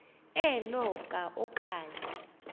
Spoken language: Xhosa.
eno ka okanye